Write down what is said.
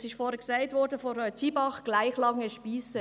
Es wurde vorhin von Frau Zybach gesagt: gleich lange Spiesse.